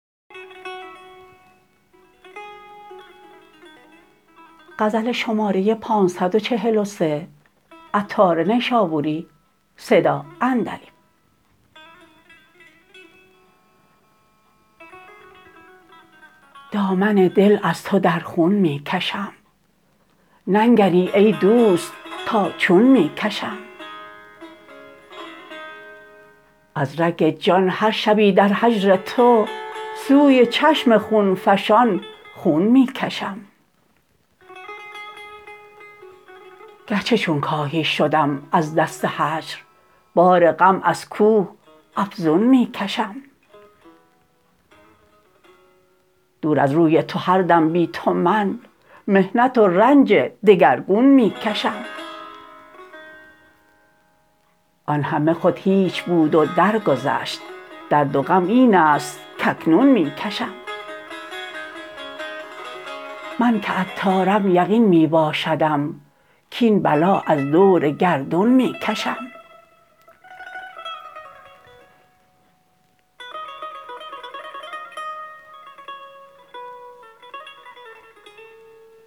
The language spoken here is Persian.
دامن دل از تو در خون می کشم ننگری ای دوست تا چون می کشم از رگ جان هر شبی در هجر تو سوی چشم خونفشان خون می کشم گرچه چون کاهی شدم از دست هجر بار غم از کوه افزون می کشم دور از روی تو هر دم بی تو من محنت و رنج دگرگون می کشم آن همه خود هیچ بود و درگذشت درد و غم این است کاکنون می کشم من که عطارم یقین می باشدم کین بلا از دور گردون می کشم